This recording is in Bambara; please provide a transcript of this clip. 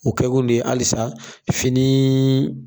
O kɛkun de ye halisa fini